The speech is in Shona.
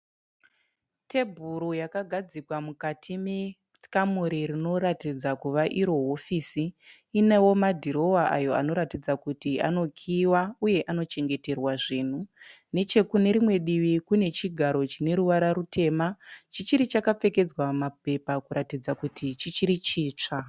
Tebhuru yakagadzikwa mukati mekamuri rinoratidza kuva iro hofisi inewo madhirowa ayo anotaridza kuti anokiiwa uye anochengeterwa zvinhu. Nechekune rimwe divi kune chigaro chine ruvara rwutema chichiri chakapfekedzwa mapepa kuratidza kuti chichiri chitsva .